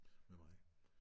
Med mig